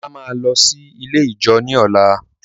Ola máa lọ sí ilé ijó ní ọ̀la.